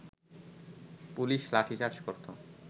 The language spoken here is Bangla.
পুলিশ লাঠিচার্জ করত